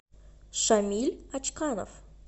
шамиль очкалов